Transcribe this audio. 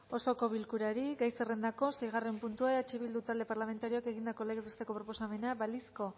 osoko bilkurari gai zerrendako seigarren puntua eh bildu talde parlamentarioak egindako legez besteko proposamena balizko